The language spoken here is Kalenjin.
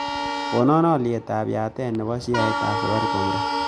Konan olyetab yatet nebo sheaisiekap safaricom raa